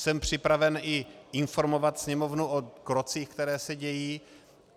Jsem připraven i informovat Sněmovnu o krocích, které se dějí.